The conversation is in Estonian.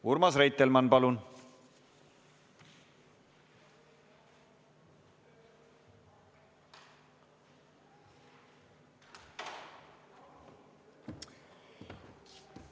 Urmas Reitelmann, palun!